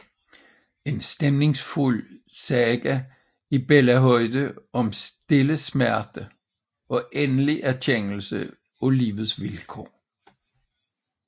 En stemningsfuld saga i børnehøjde om stille smerte og endelig erkendelse af livets vilkår